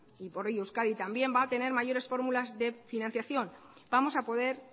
y por ello euskadi también va a tener mayores fórmulas de financiación vamos a poder